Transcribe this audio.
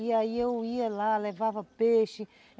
E aí eu ia lá, levava peixe.